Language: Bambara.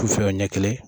K'u fɛ ɲɛ kelen